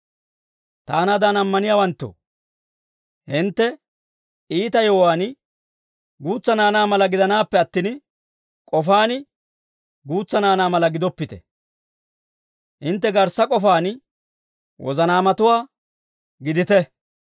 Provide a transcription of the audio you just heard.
Taanaadan ammaniyaawanttoo, hintte iita yewuwaan guutsa naanaa mala gidanaappe attin, k'ofaan guutsa naanaa mala gidoppite; hintte garssa k'ofaan wozanaamatuwaa gidite.